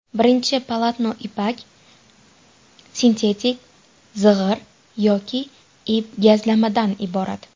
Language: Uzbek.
Birinchi polotno ipak, sintetik, zig‘ir yoki ip-gazlamadan iborat.